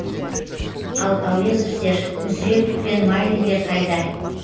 ал әуезовтер мүсірепов пен майлиндер қайда